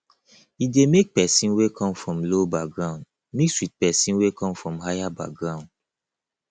e de make person wey come from low background mix with persin wey come from higher background